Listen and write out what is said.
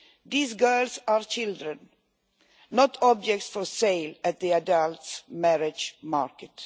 These girls are children, not objects for sale in the adults' marriage market.